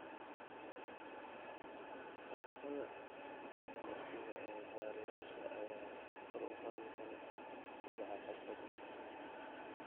Dhaqannada milicsiga ee barayaasha ayaa kor u qaadi kara kobaca xirfadda.